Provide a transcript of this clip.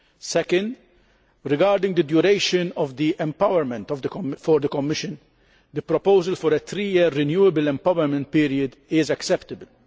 Second, regarding the duration of the empowerment for the Commission, the proposal of a three year renewable empowerment period is acceptable.